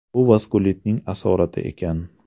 Bu vaskulitning asorati ekan.